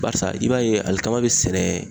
Barisa i b'a ye alikama be sɛnɛ